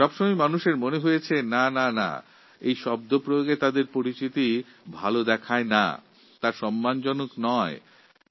কিন্তু সব সময় মনে হয় এই লোকেদের জন্য এই ধরনের শব্দের প্রয়োগ ঠিক নয় সম্মানজনক নয়